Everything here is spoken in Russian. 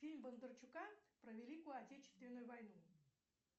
фильм бондарчука про великую отечественную войну